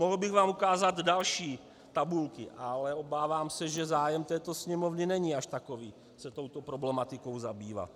Mohl bych vám ukázat další tabulky, ale obávám se, že zájem této Sněmovny není až takový se touto problematikou zabývat.